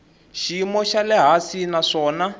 xiyimo xa le hansi naswona